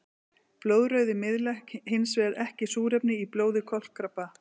Blóðrauði miðlar hinsvegar ekki súrefni í blóði kolkrabba.